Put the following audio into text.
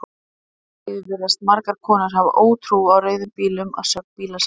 Engu að síður virðast margar konur hafa ótrú á rauðum bílum að sögn bílasala.